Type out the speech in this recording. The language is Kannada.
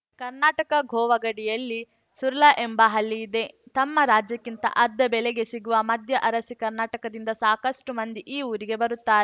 ಕರ್ನಾಟಕ ಗೋವಾ ಗಡಿಯಲ್ಲಿ ಸುರ್ಲಾ ಎಂಬ ಹಳ್ಳಿ ಇದೆ ತಮ್ಮ ರಾಜ್ಯಕ್ಕಿಂತ ಅರ್ಧ ಬೆಲೆಗೆ ಸಿಗುವ ಮದ್ಯ ಅರಸಿ ಕರ್ನಾಟಕದಿಂದ ಸಾಕಷ್ಟುಮಂದಿ ಈ ಊರಿಗೆ ಬರುತ್ತಾ